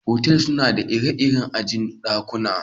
Otal suna da ire-iren aji'n dakuna.